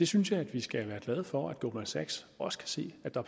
synes at vi skal være glade for at goldman sachs også kan se at der